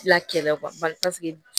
La kɛlɛ bari paseke